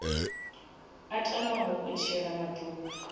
a tamaho u tshila maḓuvha